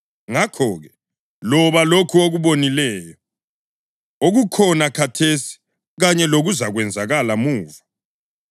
Ngakho-ke, loba lokhu okubonileyo, okukhona khathesi kanye lokuzakwenzakala muva.